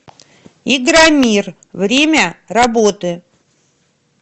игромир время работы